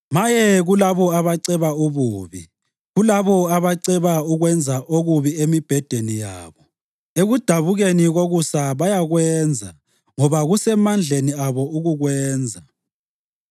Maye kulabo abaceba ububi, kulabo abaceba ukwenza okubi emibhedeni yabo! Ekudabukeni kokusa bayakwenza ngoba kusemandleni abo ukukwenza.